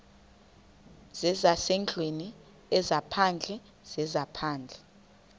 zezasendlwini ezaphandle zezaphandle